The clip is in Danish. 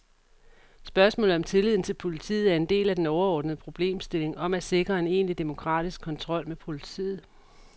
Spørgsmålet om tilliden til politiet er en del af den overordnede problemstilling om at sikre en egentlig demokratisk kontrol med politiet.